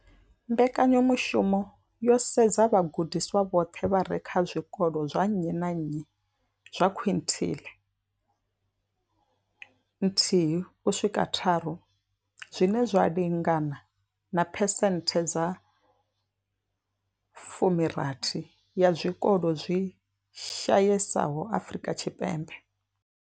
Mbekanyamushumo yo sedza vhagudiswa vhoṱhe vha re kha zwikolo zwa nnyi na nnyi zwa quintile nthihi u swika tharu, zwine zwa lingana na phesenthe dza 60 ya zwikolo zwi shayesaho Afrika Tshipembe.